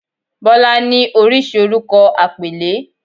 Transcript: "Bola"ni oríṣi orúkọ àpèlé.